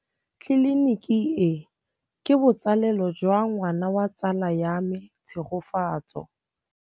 Tleliniki e, ke botsalêlô jwa ngwana wa tsala ya me Tshegofatso.